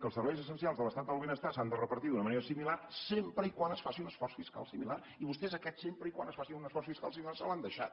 que els serveis essencials de l’estat del benestar s’han de repartir d’una manera similar sempre que es faci un esforç fiscal similar i vostès aquest sempre que es faci un esforç fiscal similar se l’han deixat